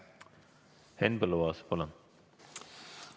Henn Põlluaas, palun!